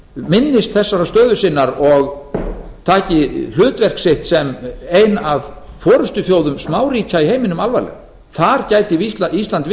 minnist þessarar stöðu sinnar og taki hlutverk sitt sem ein af forustuþjóðum smáríkja í heiminum alvarlega þar gæti ísland